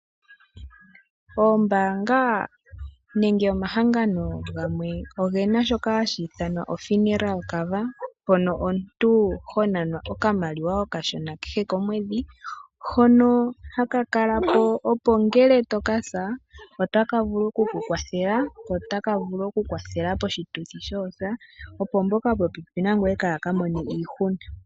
Oombaanga nenge omahangano gamwe oge na shoka hashi ithanwa o-funeral cover, mpono omuntu ho nanwa okamaliwa okashona kehe komwedhi hono haka kala po opo ngele toka sa otaka vulu okukukwathela, ko otaka vulu okukwathela poshituthi shoosa opo mboka yopopepi nangoye kaaya ka mone iihuna.